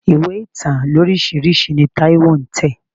Ìwé ìtàn lóríṣiríṣi ni Táíwó ń tẹ̀.